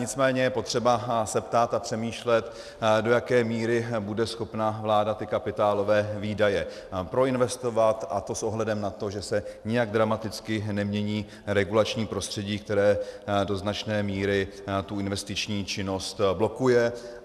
Nicméně je potřeba se ptát a přemýšlet, do jaké míry bude schopna vláda ty kapitálové výdaje proinvestovat, a to s ohledem na to, že se nijak dramaticky nemění regulační prostředí, které do značné míry tu investiční činnost blokuje.